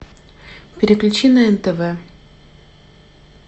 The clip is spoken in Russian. переключи на нтв